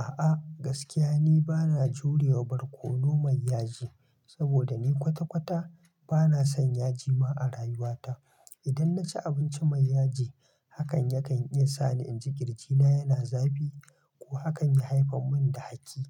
A'a gaskiya ni bana jurewa barkono mai yaji, saboda ni kwata-kwata bana son yaji ma a rayuwata. Idan naci abinci mai yaji hakan yakan iya sa ni in ji ƙirji na yana zafi ko hakan ya haifar mun da haki.